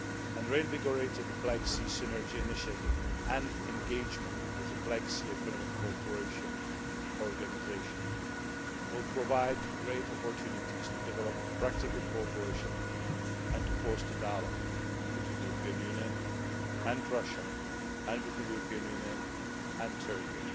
A reinvigorated Black Sea Synergy initiative and engagement with the Black Sea Economic Cooperation Organisation will provide great opportunities to develop practical cooperation and to foster dialogue between the European Union and Russia and between the European Union and Turkey,